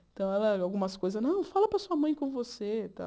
Então, ela algumas coisas, não, fala para sua mãe ir com você e tal.